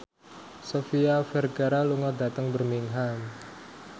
Sofia Vergara lunga dhateng Birmingham